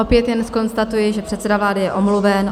Opět jen zkonstatuji, že předseda vlády je omluven.